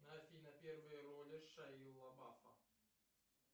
афина первые роли шайи лабафа